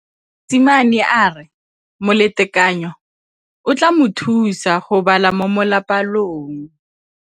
Mosimane a re molatekanyô o tla mo thusa go bala mo molapalong.